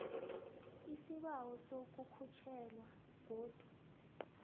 isibawo sokukhutjhelwa godu